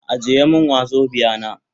Ajiye min wazobia na.